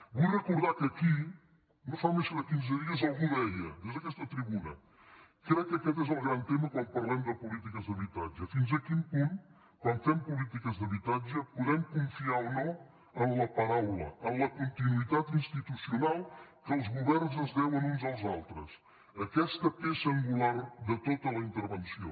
vull recordar que aquí no fa més de quinze dies algú deia des d’aquesta tribuna crec que aquest és el gran tema quan parlem de polítiques d’habitatge fins a quin punt quan fem polítiques d’habitatge podem confiar o no en la paraula en la continuïtat institucional que els governs es deuen uns als altres aquesta peça angular de tota la intervenció